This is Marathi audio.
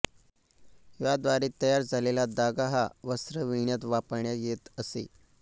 याद्वारे तयार झालेला धागा हा वस्त्र विणण्यात वापरण्यात येत असे